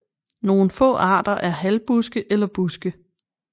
Nogle få arter er halvbuske eller buske